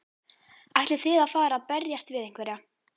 Ætlið þið að fara að berjast við einhverja?